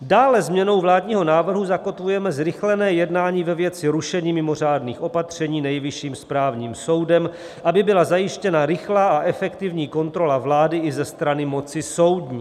Dále změnou vládního návrhu zakotvujeme zrychlené jednání ve věci rušení mimořádných opatření Nejvyšším správním soudem, aby byla zajištěna rychlá a efektivní kontrola vlády i ze strany moci soudní.